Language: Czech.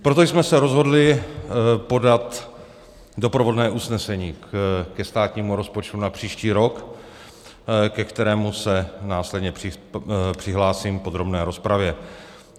Proto jsme se rozhodli podat doprovodné usnesení ke státnímu rozpočtu na příští rok, ke kterému se následně přihlásím v podrobné rozpravě.